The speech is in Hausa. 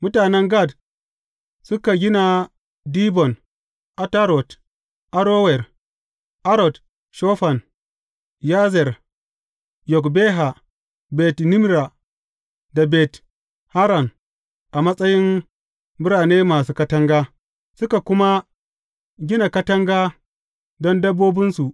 Mutanen Gad suka gina Dibon, Atarot, Arower, Atrot Shofan, Yazer, Yogbeha, Bet Nimra, da Bet Haran a matsayin birane masu katanga, suka kuma gina katanga don dabbobinsu.